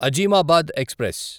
Azimabad express